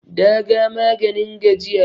daga maganin gajiya